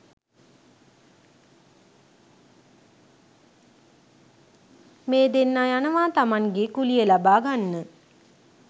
මේ දෙන්න යනවා තමන්ගේ කුලිය ලබා ගන්න